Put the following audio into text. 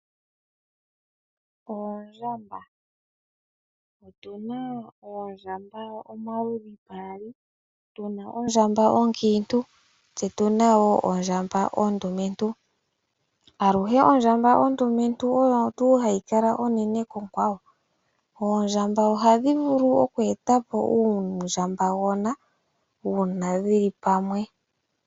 Oondjamba, opuna oondjamba omaludhi gaali. Tuna ondjamba onkiintu tse tuna wo ondjamba ondumentu aluhe ondjamba ondumentu oyo hayi kala onene konkwawo. Oondjamba ohadhi vulu oku etapo uundjamba gona una dhili pamwe.